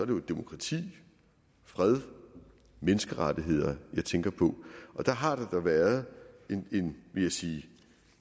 det demokrati fred og menneskerettigheder jeg tænker på og dér har der da været en vil jeg sige